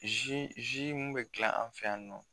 minnu bɛ dilan an fɛ yan nɔ